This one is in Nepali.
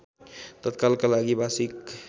तत्कालका लागि भाषिक